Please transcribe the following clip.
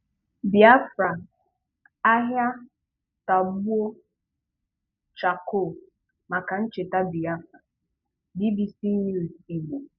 Bịáfrà' Áhị́á tọ̀gbọ́ chákóó màkà nchètá Bị̀áfrà - BBC News Ìgbò.